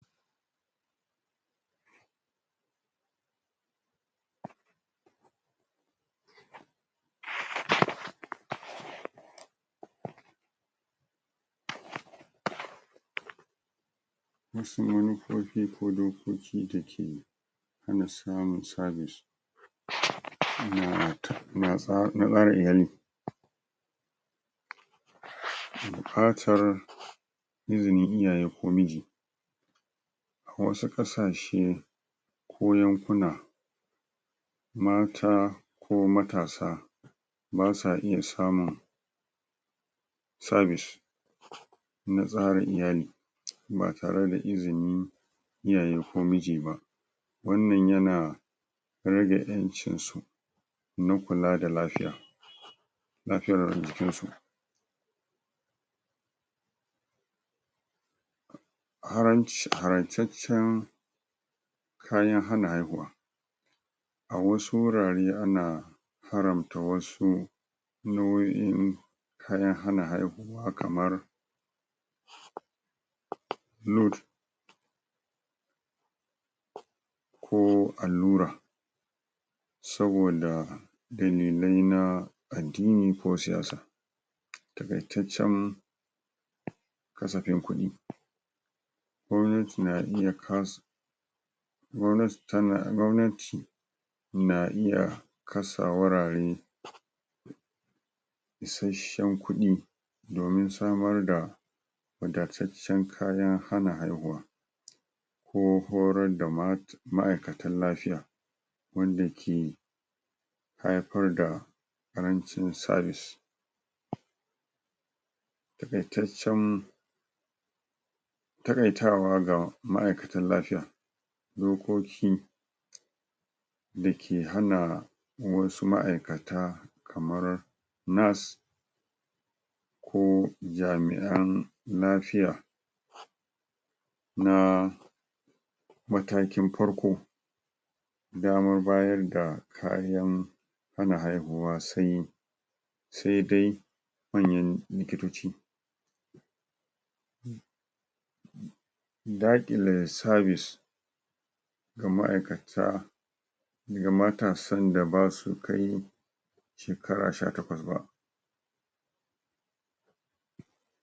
kodai ko ci takeyi hana samun sabis na tsarin iyali buƙatar izinin iyaye ko miji a wasu ƙasashe ko yankuna mata ko matasa basa iya samun sabis na tsarin iyali ba tareda izinin iyaye ko miji ba wannan yana rage ƴancin su na kula da lafiya lafiyar jikin su haranci harancaccen kayan hana haihuwa a wasu wurare ana haramta wasu nau'o'i kayan hana haihuwa kamar lud ko allura saboda dalilai na addini ko siyasa taƙaitaccen kasafin kuɗi gwamnati na iya kasu gwamnati tana gwamnati na iya kasa wurare isashen kuɗi domin samar da wadataccen kayan hana haihuwa ko horar da ma'aikatan lafiya wanda ke haifar da ƙarancin sabis taƙaitaccen taƙaitawa ga ma'aikatan lafiya dokoki dake hana wasu ma'aikata kamar nass ko jami'an lafiya na matakin farko damar bayar da kariyan hana haihuwa sai saidai manyan likitoci. saƙile sabis ga ma'aikata ga matasan da basu kai shekara sha takwas ba.